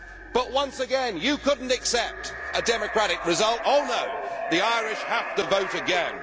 no'. But once again you could not accept a democratic result, oh no the Irish have to vote again!